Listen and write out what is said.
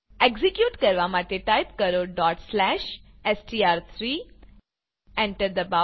execute કરવા માટે type કરો str3 એન્ટર દબાવો